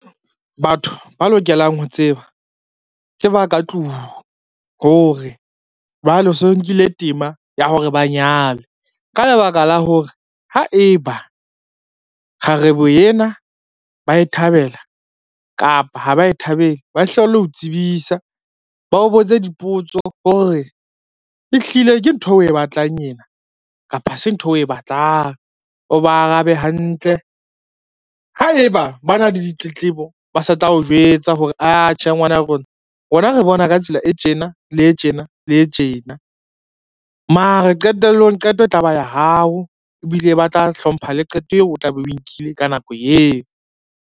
Batho ba lokelang ho tseba ke ba ka tlung hore, jwale so nkile tema ya hore ba nyale ka lebaka la hore, ha eba kgarebe ena ba e thabela kapa ha ba e thabele ba e hlalo o tsebisa, ba o botse dipotso hore ehlile ke ntho eo o e batlang ena kapa ha se ntho eo o e batlang. O ba arabe hantle, haeba ba na le ditletlebo ba sa tla o jwetsa hore atjhe ngwana rona, rona re bona ka tsela e tjena le tjena le tjena mare qetellong qeto e tla ba ya hao, ebile ba tla hlompha le qeto eo o tla be o nkile ka nako eo.